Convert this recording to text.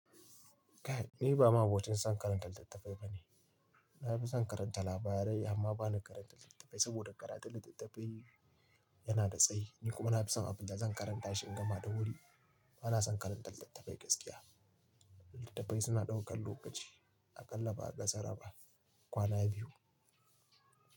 Ni ba ma abokin zan karanta littattafai bane. Na fi son karanta labarai amma ba ni karanta littattafai, saboda karatun littattafai yana da tsayi. Ni kuma na fi son abinda zan karanta shi in gama da wuri. Ba na son karanta littattafai gaskiya. Littattafai suna ɗaukar lokaci a ƙalla ba ƙassara ba, kwana biyu.